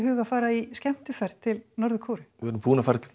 að fara í skemmtiferð til Norður Kóreu við vorum búin að fara til